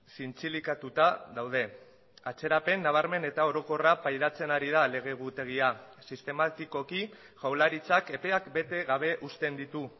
zintzilikatuta daude atzerapen nabarmen eta orokorra pairatzen ari da lege egutegia sistematikoki jaurlaritzak epeak bete gabe uzten ditu